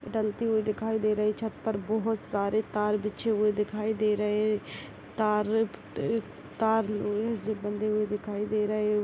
डलती हुई दिखाई दे रही छत पर बहुत सारे तार बिछे हुए दिखाई दे रहे है तार अ-अ तार उनही से बंधे हुए दिखाई दे रहे है।